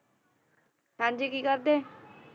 ਹਾਂ ਜੀ ਕੀ ਕਰਦੇ?